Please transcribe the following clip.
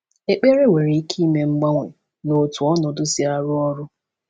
Ekpere nwere ike ime mgbanwe na otú ọnọdụ si arụ ọrụ.